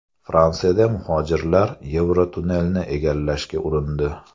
Fransiyada muhojirlar Yevrotunnelni egallashga urindi.